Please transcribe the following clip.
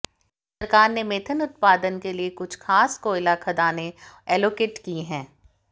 सरकार ने मेथेन उत्पादन के लिए कुछ खास कोयला खदानें एलोकेट की हैं